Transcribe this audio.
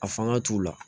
A fanga t'u la